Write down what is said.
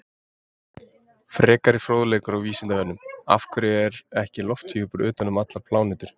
Frekari fróðleikur á Vísindavefnum: Af hverju er ekki lofthjúpur utan um allar plánetur?